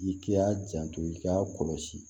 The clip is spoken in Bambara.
I k'i y'a janto i ka kɔlɔsi